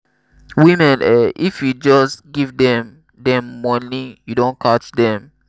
women eh! if you just give dem dem money you don catch dem.